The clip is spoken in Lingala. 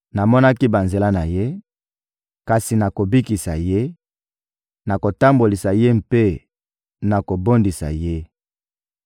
Namonaki banzela na ye, kasi nakobikisa ye; nakotambolisa ye mpe nakobondisa ye.